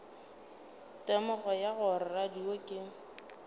temogo ya gore radio ke